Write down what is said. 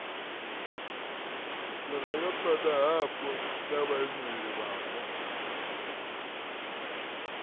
vhurangaphanda hapo na vhaimeleli vhapo